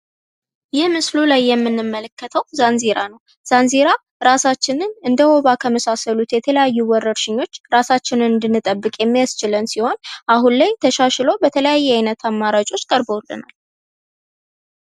ይህ ምስሉ ላይ የምንመለከተው ዛንዜራ ነው። ዛንዜራ እንደውባ ከመሳሰሉት ከተለያዩ ወረርሽኞች እራሳችንን እንድንጠብቅ የሚያስችለን ሲሆን አሁን ላይ ተሻሽሎ በተለያዩ አማራጮች ቀርበውልናል።